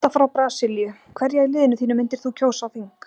Marta frá Brasilíu Hverja í liðinu þínu myndir þú kjósa á þing?